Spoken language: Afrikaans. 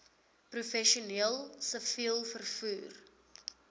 professioneel siviel vervoer